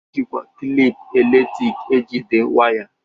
E jikwa klịp eletik ejide waya.